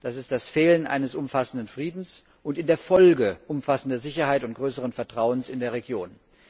Das ist das Fehlen eines umfassenden Friedens und in der Folge umfassender Sicherheit und größeren Vertrauens in der Region.